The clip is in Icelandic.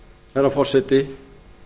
herra forseti